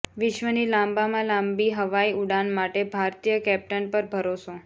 વિશ્વની લાંબામાં લાંબી હવાઈ ઉડાન માટે ભારતીય કેપ્ટન પર ભરોસો